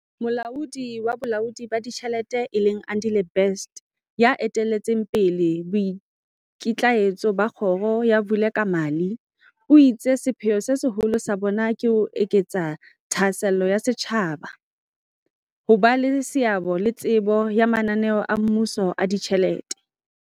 Molaodi wa Bolaodi ba Ditjhelete e leng Andile Best, ya eteletseng pele boikitlaetso ba kgoro ya Vulekamali, o itse sepheo se seholo sa bona ke ho eketsa thahasello ya setjhaba, ho ba le seabo le tsebo ya mana neo a mmuso a ditjhelete.